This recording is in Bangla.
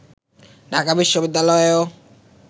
ঢাকা বিশ্ববিদ্যালয়েও